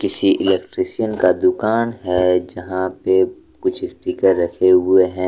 किसी इलेक्ट्रिशियन का दुकान है जहां पे कुछ स्पीकर रखे हुवे हैं।